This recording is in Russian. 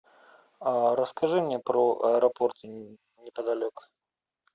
расскажи мне про аэропорты неподалеку